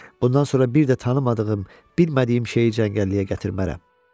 Bundan sonra bir də tanımadığım, bilmədiyim şeyi cəngəlliyə gətirmərəm.